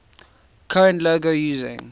current logo using